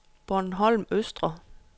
Bornholm Østre